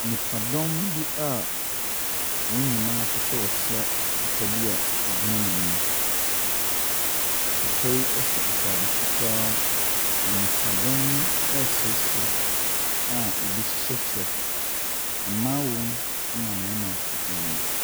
Nipadɔm bi a, wɔn nyinaa pɛ sɛ ɔkyea papa bi a ɔgyina wɔn anim. Papa yi ɛhyɛ ataade fitaa. Na nipadɔm yi ɛsresre aebi hyehyɛ kyɛ. Mmaa wɔ mu ɛna mmarima ɛnso wɔ mu.